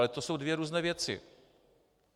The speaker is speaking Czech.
Ale to jsou dvě různé věci.